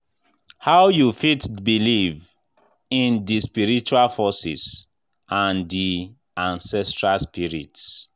How you fit believe in di spiritual forces and di ancestral spirits?